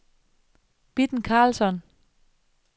Bitten Karlsson